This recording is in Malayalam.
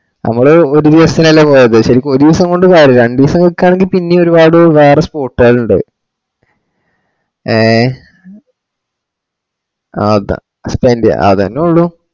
നമ്മള് ഒരുദിവസത്തിനലെ പോയത്ശെരിക്കും ഒരൂസം കൊണ്ട് പോര രണ്ട് ദിവസം നിക്കാണെകിൽപിന്നയും ഒരുപാട് വേറ spot കൾ ഉണ്ട് ഏഹ് ആ അത spent ചെയ അതെന്നെ ഉള്ളു